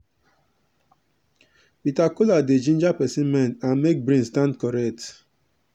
bitter bitter kola dey ginger person mind and make brain stand correct.